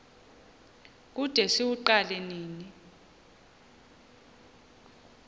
kude siwuqale nini